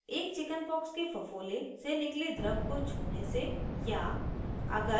* एक chickenpox के फफोले से निकले द्रव को छूने से या